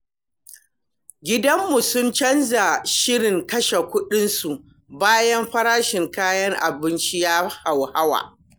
Gidanmu sun canza shirin kashe kuɗinsu bayan farashin kayan abinci ya hauhawa.